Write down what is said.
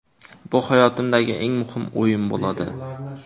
Bu hayotimdagi eng muhim o‘yin bo‘ladi.